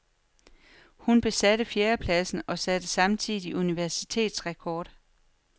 Hun besatte fjerdepladsen og satte samtidig universitetsrekord.